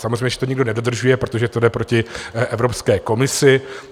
Samozřejmě že to nikdo nedodržuje, protože to jde proti Evropské komisi.